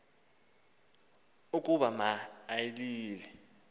ukuba ma ilile